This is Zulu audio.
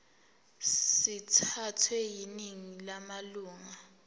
sithathwe yiningi lamalunga